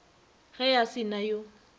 ge a se na yo